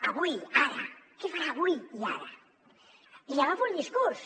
avui ara què farà avui i ara li agafo un discurs